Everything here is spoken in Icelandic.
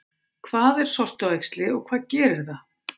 Hvað er sortuæxli og hvað gerir það?